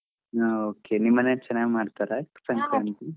ಹಾ okay ನಿಮ್ ಮನೇಲಿ ಚನಾಗ್ ಮಾಡ್ತಾರಾ ಸಂಕ್ರಾಂತಿ.